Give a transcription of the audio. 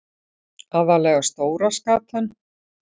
Aðallega stóra skatan.